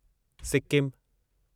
सिक्किमु